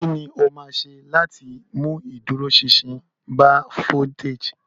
Kí ni o máa ṣe láti mú ìdúróṣinṣin bá foliteji?